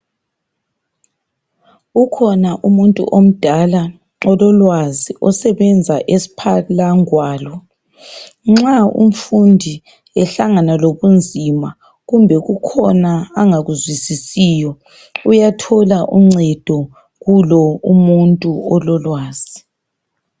Ukhona umuntu omdala ololwazi osebenza esphala ngwalo nxa umfundi ehlangana lobunzima kumbe kukhona angakuzwisisiyo uyathola uncedo kulo umuntu ololwazi.